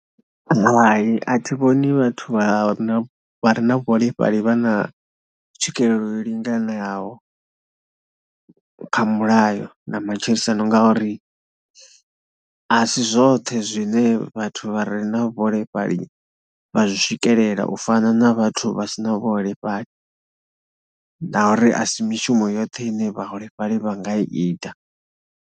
Hai a thi vhoni vhathu vha no vha re na vhuholefhali vha na tswikelelo yo linganelaho kha mulayo na matshilisano ngauri a si zwoṱhe zwine vhathu vha re na vhuholefhali vha zwi swikelela u fana na vhathu vha si na vhuholefhali na uri a si mishumo yoṱhe ine vhaholefhali vha nga ita.